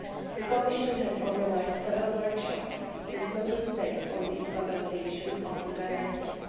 The Commission has organised several workshops with Member States on the implementation of the Directive.